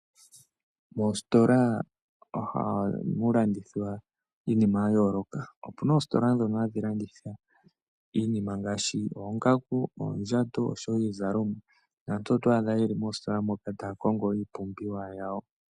Moositola ohamu landithwa iinima yayooloka. Opuna oositola ndhono hadhi landitha iinima ngaashi oongaku, oondjato oshowo iizalomwa, naantu oto adha yeli moositola moka taya kongo iipumbiwa yawo.